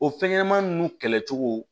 O fɛn ɲɛnɛmani nunnu kɛlɛcogo